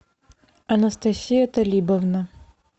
анастасия талибовна